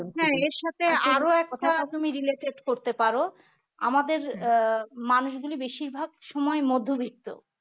হ্যাঁ এর সাথে আরো একটা তুমি related করতে পার আমাদের আহ মানুষগুলি বেশিরভাগ সময় মধ্যবিত্ত